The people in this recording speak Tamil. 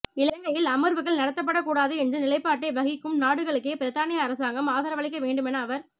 இலங்கையில் அமர்வுகள் நடாத்தப்படக் கூடாது என்ற நிலைப்பாட்டை வகிக்கும் நாடுகளுக்கே பிரித்தானிய அரசாங்கம் ஆதரவளிக்க வேண்டுமென அவர்